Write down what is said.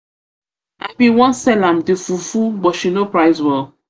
i bin wan i bin wan sell am the fufu but she no price well.